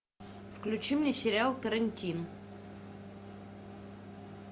включи мне сериал карантин